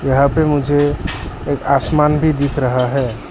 यहां पे मुझे एक आसमान भी दिख रहा है।